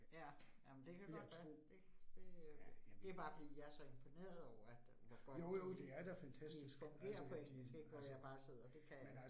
Ja, jamen det kan godt være. Det det øh det bare fordi jeg så imponeret over, at hvor godt de øh de fungerer på engelsk ik, hvor jeg bare sidder det kan jeg ikke